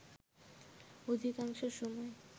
অধিকাংশ সময়